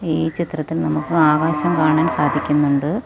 ഈ ചിത്രത്തിൽ നമുക്ക് ആകാശം കാണാൻ സാധിക്കുന്നുണ്ട്.